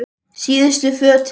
Síðustu fötin.